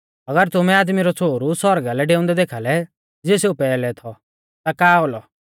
अगर तुमै आदमी रौ छ़ोहरु सौरगा लै डेऊंदै देखाल़ै ज़िऐ सेऊ पैहलै थौ ता का औलौ